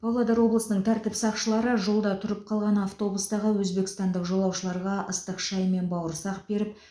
павлодар облысының тәртіп сақшылары жолда тұрып қалған автобустағы өзбекстандық жолаушыларға ыстық шай мен бауырсақ беріп